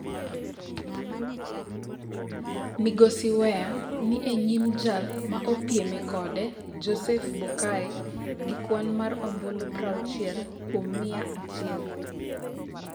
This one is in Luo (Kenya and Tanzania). Migosi Weah ni e nyim jal ma opieme kode Joseph Boakai gi kwan mar ombulu 60 kuom mia achiel.